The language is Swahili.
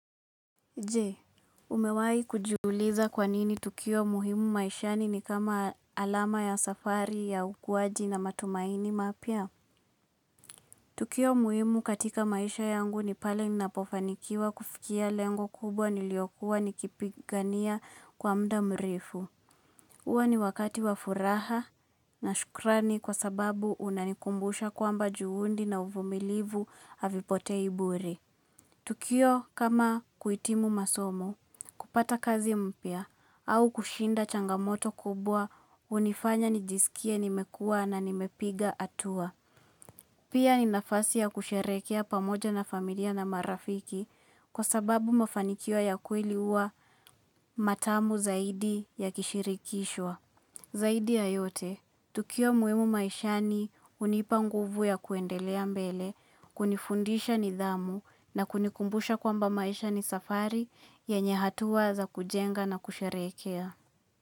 Je, umewahi kujiuliza kwa nini tukio muhimu maishani ni kama alama ya safari ya ukuwaji na matumaini mapya? Tukio muhimu katika maisha yangu ni pale ninapofanikiwa kufikia lengo kubwa niliokua nikipigania kwa muda mrefu. Huwa ni wakati wa furaha na shukrani kwa sababu unanikumbusha kwamba juhudi na uvumilivu havipotei bure. Tukio kama kuhitimu masomo. Kupata kazi mpya au kushinda changamoto kubwa hunifanya nijisikie nimekua na nimepiga atua. Pia ni nafasi ya kusherehekea pamoja na familia na marafiki kwa sababu mafanikio ya kweli huwa matamu zaidi ya kushirikishwa. Zaidi ya yote, tukio muhimu maishani hunipa nguvu ya kuendelea mbele, kunifundisha nidhamu na kunikumbusha kwamba maishani safari yenye hatua za kujenga na kusherehekea.